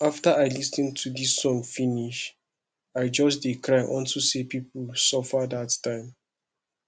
after i lis ten to dis song finish i just dey cry unto say people suffer dat time